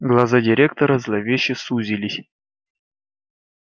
глаза директора зловеще сузились